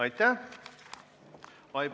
Aitäh!